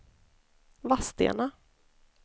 Vadstena